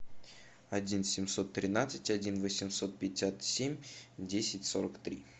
один семьсот тринадцать один восемьсот пятьдесят семь десять сорок три